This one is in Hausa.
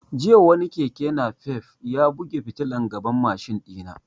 Jiya wani keke nafef ya buge fitilan gaban mashin ɗina